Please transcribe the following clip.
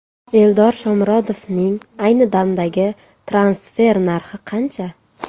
Eldor Shomurodovning ayni damdagi transfer narxi qancha?